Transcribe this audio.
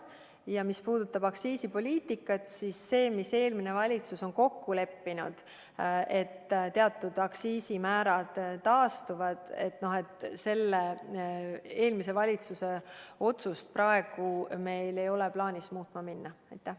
Ja mis puutub aktsiisipoliitikasse, siis seda, mis eelmine valitsus on kokku leppinud, et teatud aktsiisimäärad taastuvad, meil ei ole praegu plaanis muutma hakata.